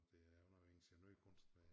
Det er jo noget ingeniørkunst